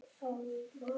Í hverju mætir þú?